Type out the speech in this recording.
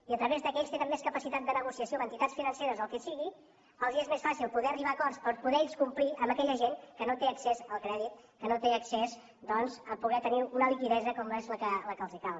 i a través del fet que ells tenen més capacitat de negociació amb entitats financeres o el que sigui els és més fàcil poder arribar a acords per poder ells complir amb aquella gent que no té accés al crèdit que no té accés doncs a poder tenir una liquiditat com és la que els cal